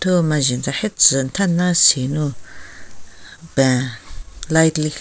Thu majen tsahetsü metha melasei nou peng light lekhi--